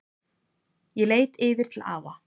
Ég leit yfir til afa.